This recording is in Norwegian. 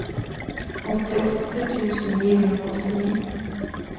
åttiåtte tusen ni hundre og åttini